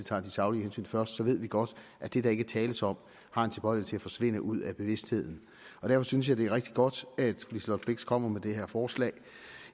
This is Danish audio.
tage de saglige hensyn først ved vi godt at det der ikke tales om har en tilbøjelighed forsvinde ud af bevidstheden derfor synes jeg det er rigtig godt at liselott blixt kommer med det her forslag